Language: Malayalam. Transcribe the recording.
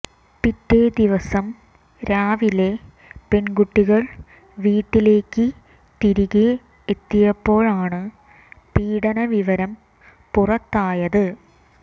പിറ്റേദിവസം രാവിലെ പെൺകുട്ടികൾ വീട്ടിലേക്ക് തിരികെ എത്തിയപ്പോഴാണ് പീഡന വിവരം പുറത്തായത്